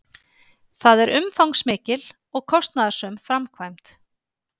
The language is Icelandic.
Það er umfangsmikil og kostnaðarsöm framkvæmd